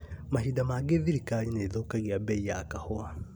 Mahinda mangĩ thirikari nĩĩthũkagia mbei ya kahũa